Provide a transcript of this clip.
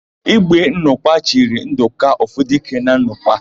Ígwé Nnọkwa chiri Ndụka, Ofudike na Nnọkwa.